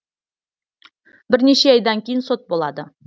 бірнеше айдан кейін сот болады